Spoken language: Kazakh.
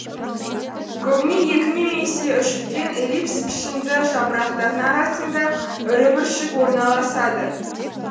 көбіне екі немесе үш үлкен эллипс пішінді жапырақтардың арасында ірі бүршік орналасады